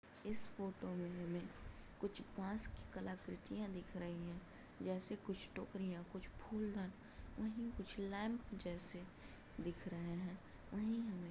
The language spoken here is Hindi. इस फोटो में हमें कुछ फ्रांस की कलाकृतियां दिख रहीं हैं जैसे कुछ टोकरियाँ कुछ फूलदान वहीं कुछ लैम्प जैसे दिख रहे हैं वहीं हमें --